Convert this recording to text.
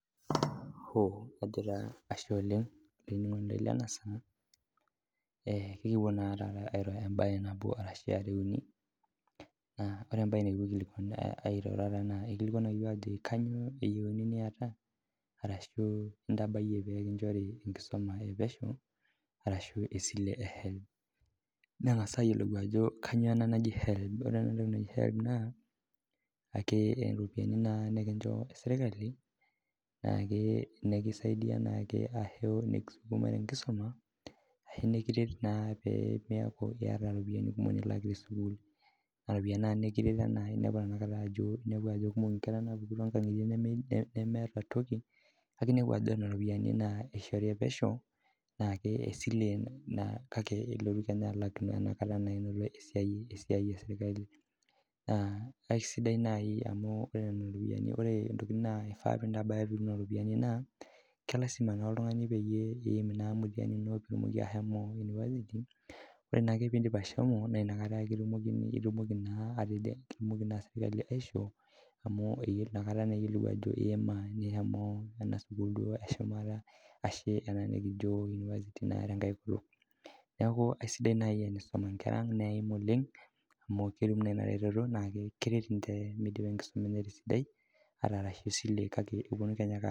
Ashe oleng olainining'oni Lena saa akintoki naa apuo ayimaki Abe nabo are arashu uni naa ore mbae nikipuo aiteru eikilikuanaki iyiok ajoki kainyio eyiuni niata arashu entabae pee kinvhori enkusuma epesho arashu esile ehelb niking'as ayiolou Ajo kainyio ena naji helb ore enatoki naaji helb naa ake ropiani nikincho sirkali nikisaidia ake arashu nikisuma tenkisuma arashu nikiret pemeku eyata ropiani kumok nilak tesukuul naa ropiani nikiret amu enepu Ajo kumok enkera napuku too nkang'itie nemeeta toki neeku neena ropiani eishori mehomo ena esile kake kelo kenyaa alak tenelo esiai esirkali naa akisadai naaji amu ore Nena ropiani ore entoki naifaa pitum Nena ropiani naa kelaaeima naa piyim oltung'ani mtihani ino pitumoki ahomo university ore naake pidip ahomo naa enakata naa ake etumoki naa ele ratio amu eyiolou Ajo eyima amu ena sukuul eshumata ena kijo university tenkae kutuk neeku aisidai naaji tenkisuma Nkera netum oleng amu ketum naa ena eretoto naa keret midipa tenkisuma enye tesidai ata ee silent kake epuonu kenyake alak